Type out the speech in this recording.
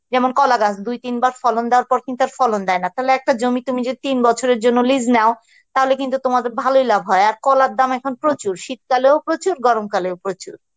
যেমন কলা গাছ দুই তিনবার ফলন দেয়ার পর কিন্তু আর ফলন দেয় না তাহলে একটা জমি যে তুমি তিন বছরের জন্য lease নাও তাহলে কিন্তু তোমাদের ভালই লাভ হয় আর কলার দাম এখন প্রচুর, শীতকালেও প্রচুর গরমকালেও প্রচুর